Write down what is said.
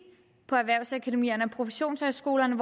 på erhvervsakademierne og professionshøjskolerne